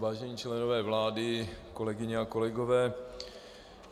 Vážení členové vlády, kolegyně a kolegové.